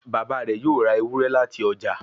Bàbá rẹ yóò rá Ewúrẹ́ láti ọjà.